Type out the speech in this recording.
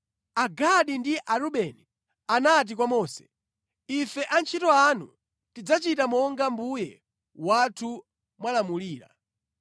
Agadi ndi Arubeni anati kwa Mose, “Ife antchito anu tidzachita monga mbuye wathu mwalamulira.